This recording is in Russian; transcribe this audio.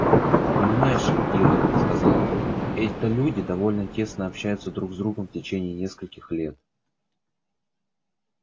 понимаешь ли ир сказал он это люди довольно тесно общаются друг с другом в течение нескольких лет